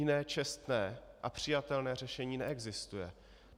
Jiné čestné a přijatelné řešení neexistuje.